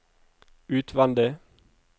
utvendig